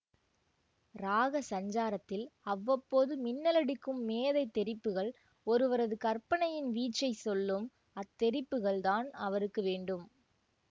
ராக சஞ்சாரத்தில் அவ்வப்போது மின்னலடிக்கும் மேதைத் தெறிப்புகள் ஒருவரது கற்பனையின் வீச்சைச் சொல்லும் அத்தெறிப்புகள் தான் அவருக்கு வேண்டும்